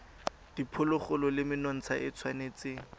diphologolo le menontsha e tshwanetse